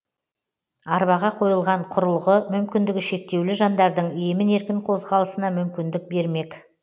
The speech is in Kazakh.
арбаға қойылған құрылғы мүмкіндігі шектеулі жандардың емін еркін қозғалысына мүмкіндік бермек